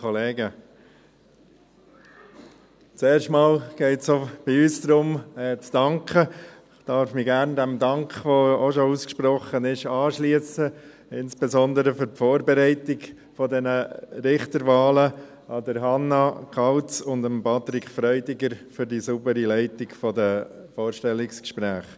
Ich darf mich dem Dank gerne anschliessen, der schon ausgesprochen wurde, insbesondere an Hannah Kauz für die Vorbereitung der Richterwahlen sowie an Patrick Freudiger für die saubere Leitung der Vorstellungsgespräche.